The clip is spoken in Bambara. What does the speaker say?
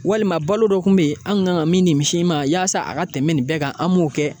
Walima balo dɔ kun be ye an kan ka min ni misi in ma yaasa a ka tɛmɛ nin bɛɛ kan an b'o kɛ